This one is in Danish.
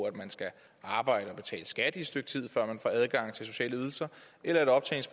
at man skal arbejde og betale skat i et stykke tid før man får adgang til sociale ydelser eller